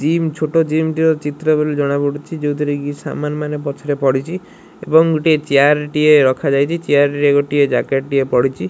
Gym ଛୋଟ gym ଟେ ଅଛି ଚିତ୍ର ରୁ ଜଣା ପଡୁଛି ଯୋଉଥିରେ କି ସାମାନ ପଛ ରେ ପଡ଼ିଛି ଏବଂ ଗୋଟିଏ ଚେୟାର ଟିଏ ରଖାଯାଇଛି ଚେୟାର ରେ ଗୋଟିଏ ଜ୍ୟାକେଟ ଟିଏ ପଡ଼ିଛି।